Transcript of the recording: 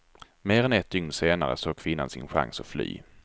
Mer än ett dygn senare såg kvinnan sin chans att fly.